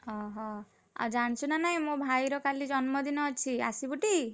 ଓହୋଃ, ଆଉ ଜାଣିଚୁ ନା ନାଇଁ ମୋ ଭାଇର କାଲି ଜନ୍ମଦିନ ଅଛି, ଆସିବୁ ଟି?